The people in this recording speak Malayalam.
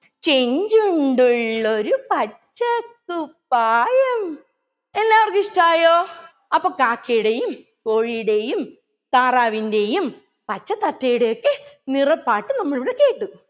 ചെഞ്ചുണ്ടുള്ളൊരു പച്ച കുപ്പായം എല്ലാവർക്കും ഇഷ്ടായോ അപ്പൊ കാക്കയുടെയും കോഴിയുടെയും താറാവിൻ്റെയും പച്ച താത്തയുടെയുമെക്കെ നിറപ്പാട്ട് നമ്മളിവിടെ കേട്ടു